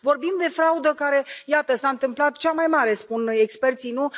Vorbim de fraudă care, iată, s a întâmplat cea mai mare spun experții, nu?